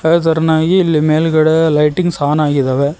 ತರತರನಾಗಿ ಇಲ್ಲಿ ಮೇಲ್ಗಡೆ lightings on ಆಗಿದ್ದಾವೆ.